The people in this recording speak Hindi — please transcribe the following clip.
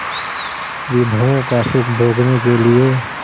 विभवों का सुख भोगने के लिए